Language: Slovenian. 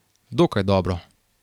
Dokaj dobro.